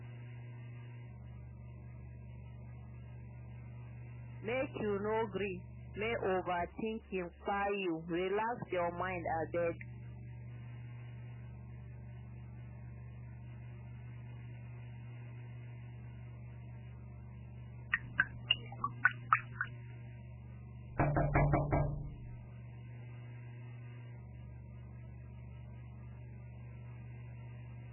make you no gree make overtinking kpai you relax your mind abeg